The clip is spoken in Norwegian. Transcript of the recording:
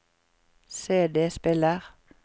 CD-spiller